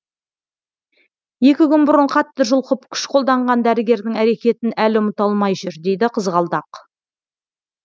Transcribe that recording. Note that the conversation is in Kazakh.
екі күн бұрын қатты жұлқып күш қолданған дәрігердің әрекетін әлі ұмыта алмай жүр дейді қызғалдақ